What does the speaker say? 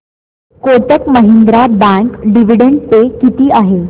Kotak Mahindra bank dividend pay किती आहे